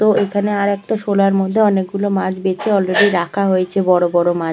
তো এখানে আরেকটা সোলার মধ্যে অনেক গুলো মাছ বেছে অলরেডি রাখা হয়েছে বড় বড় মাছ।